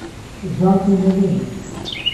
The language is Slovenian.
Zate ne vem.